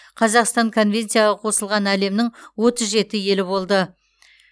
қазақстан конвенцияға қосылған әлемнің отыз жеті елі болды